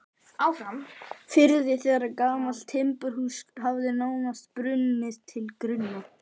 firði þegar gamalt timburhús hafði nánast brunnið til grunna.